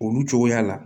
Olu cogoya la